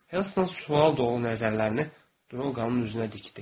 Helston sual dolu nəzərlərini Draqanın üzünə dikdi.